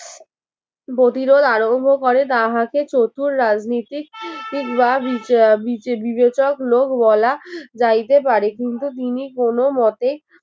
প্রতিরোধ আরম্ভ করে তাহাকে চতুর রাজনীতিক বা বিবেচক লোক বলা যাইতে পারে কিন্তু তিনি কোন মতে